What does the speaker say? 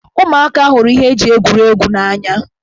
Ụmụaka hụrụ iji ihe eji egwuregwu egwuri egwu n'anya.